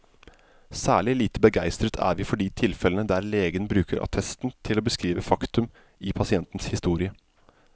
Særlig lite begeistret er vi for de tilfellene der legen bruker attesten til å beskrive faktum i pasientens historie.